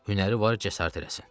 Hünəri var, cəsarət eləsin.